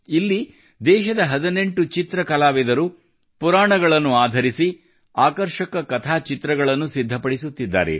ಇಲ್ಲಿ ದೇಶದ 18 ಚಿತ್ರಕಲಾವಿದರು ಪುರಾಣಗಳನ್ನು ಆಧರಿಸಿ ಆಕರ್ಷಕ ಕಥಾಚಿತ್ರಗಳನ್ನು ಸಿದ್ಧಪಡಿಸುತ್ತಿದ್ದಾರೆ